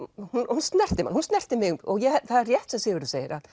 hún snertir mann og hún snerti mig og það er rétt sem Sigurður segir